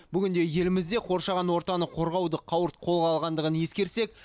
бүгінде елімізде қоршаған ортаны қорғаудың қауырт қолға алынғандығын ескерсек